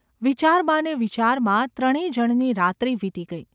વિચારમાં ને વિચારમાં ત્રણે જણની રાત્રિ વીતી ગઈ.